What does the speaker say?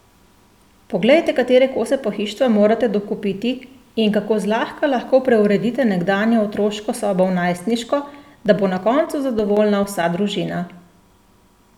Poglejte, katere kose pohištva morate dokupiti, in kako zlahka lahko preuredite nekdanjo otroško sobo v najstniško, da bo na koncu zadovoljna vsa družina!